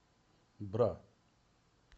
бра